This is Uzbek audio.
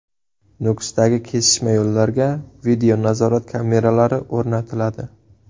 Nukusdagi kesishma yo‘llarga videonazorat kameralari o‘rnatiladi.